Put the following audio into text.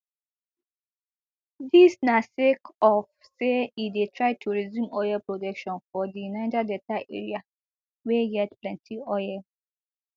dis na sake of say e dey try to resume oil production for di niger delta area wey get plenti oil